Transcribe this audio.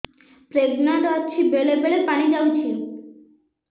pregnant ଅଛି ବେଳେ ବେଳେ ପାଣି ଯାଉଛି